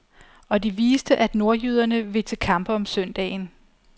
Og de viste, at nordjyderne vil til kampe om søndagen.